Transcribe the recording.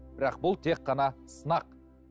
бірақ бұл тек қана сынақ